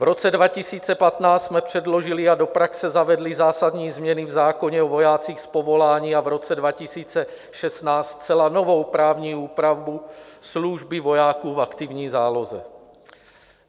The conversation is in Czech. V roce 2015 jsme předložili a do praxe zavedli zásadní změny v zákoně o vojácích z povolání a v roce 2016 zcela novou právní úpravu služby vojáků v aktivní záloze.